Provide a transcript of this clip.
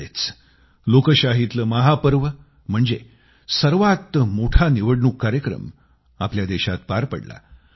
अलिकडेच लोकशाहीतलं महापर्व म्हणजे सर्वात मोठा निवडणूक कार्यक्रम आपल्या देशात पार पडला